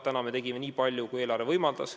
Tänavu me tegime nii palju, kui eelarve võimaldas.